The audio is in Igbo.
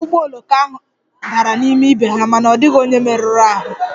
Ụgbọ oloko ndị ahụ dara n'ime ibe ha mana ọ dịghị onye njem merụrụ ahụ